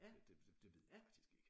Det det ved jeg faktisk ikke